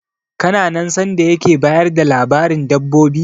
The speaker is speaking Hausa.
Kana nan sanda yake bayar da labarin dabbobi?